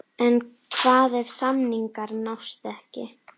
En hvað ef samningar nást ekki?